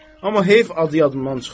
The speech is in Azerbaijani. Amma heyf adı yadımdan çıxdı.